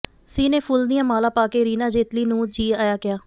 ਸੀ ਨੇ ਫੁੱਲ ਦੀਆਂ ਮਾਲਾ ਪਾ ਕੇ ਰੀਨਾ ਜੇਤਲੀ ਨੂੰ ਜੀ ਆਇਆ ਕਿਹਾ